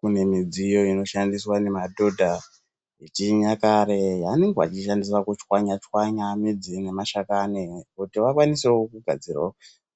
Pane michini inenge ichishandiswa ngemadhodha yechinyakare anoshandise kuchwanya chwanya midzi nemashakani kuti vakwanisewo kugadzira